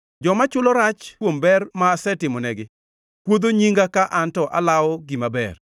Joma chulo rach kuom ber ma asetimonegi kuodho nyinga ka an to alawo gima ber.